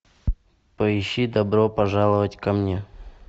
поищи добро пожаловать ко мне